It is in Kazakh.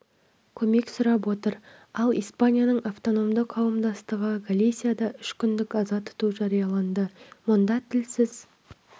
көмек сұрап отыр ал испанияның автономды қауымдастығы галисияда үш күндік аза тұту жарияланды мұнда тілсіз